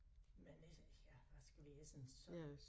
Men øh ja hvad skal vi essen så